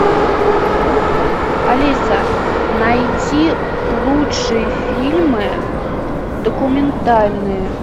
алиса найти лучшие фильмы документальные